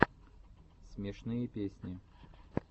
смешные песни